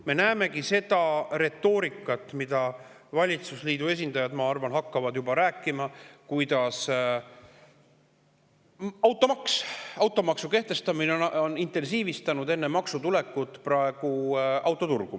Me näeme seda retoorikat, mida valitsusliidu esindajad, ma arvan, hakkavad juba rääkima, et automaksu kehtestamine on intensiivistanud praegu, enne maksu tulekut, autoturgu.